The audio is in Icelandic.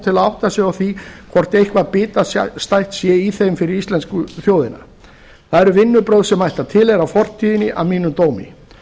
til að átta sig á því hvort eitthvað bitastætt sé í þeim fyrir íslensku þjóðina það eru vinnubrögð sem ættu að tilheyra fortíðinni að mínum dómi